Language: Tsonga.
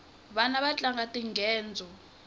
vana vatlanga tinghedzo